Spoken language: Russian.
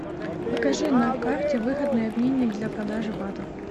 покажи на карте выгодный обменник для продажи батов